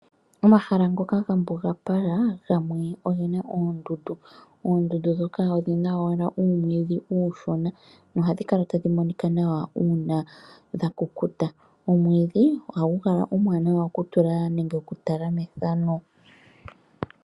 Omahala ngoka ga mbugapala, gamwe ogena oondundu. Oondundu ndhoka odhina owala uumwiidhi uushona, nohadhi kala tadhi monika nawa uuna dhakukuta. Omwiidhi ohagu kala omwaanawa okutula nenge okutala methano.